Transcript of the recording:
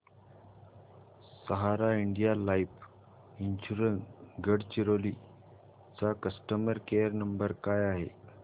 सहारा India life insurance Gadchiroli चा customer care number काय आहे